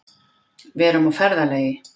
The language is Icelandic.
Við erum á ferðalagi.